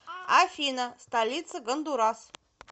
афина столица гондурас